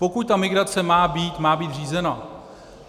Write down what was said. Pokud ta migrace má být, má být řízena.